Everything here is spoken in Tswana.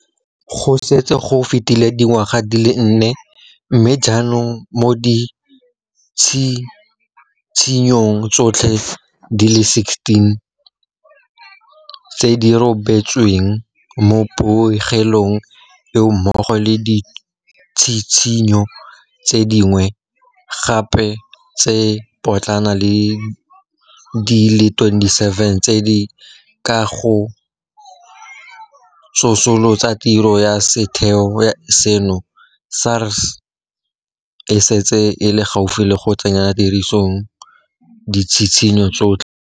Go setse go fetile dingwaga di le nne, mme jaanong mo ditshitshinyong tsotlhe di le 16 tse di rebotsweng mo pegelong eo mmogo le ditshitshinyo tse dingwe gape tse di potlana di le 27 tse di ka ga go tsosolosa tiro ya setheo seno, SARS e setse e le gaufi le go tsenya tirisong ditshitshinyo tsotlhe.